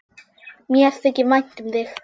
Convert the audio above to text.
Mér þykir vænt um þig!